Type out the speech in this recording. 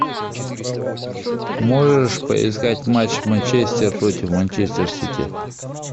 можешь поискать матч манчестер против манчестер сити